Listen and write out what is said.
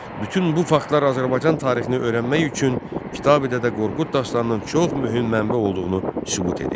Bütün bu faktlar Azərbaycan tarixini öyrənmək üçün Kitabi Dədə Qorqud dastanının çox mühüm mənbə olduğunu sübut edir.